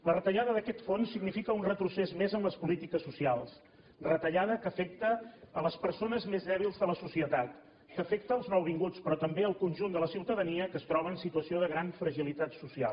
la retallada d’aquest fons significa un retrocés més en les polítiques socials retallada que afecta les persones més dèbils de la societat que afecta els nouvinguts però també el conjunt de la ciutadania que es troba en situació de gran fragilitat social